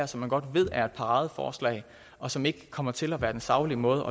som man godt ved er et paradeforslag og som ikke kommer til at være en saglig måde